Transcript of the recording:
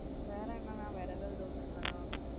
வேற என்ன நா வேற ஏதாது doubt இருக்கா நா.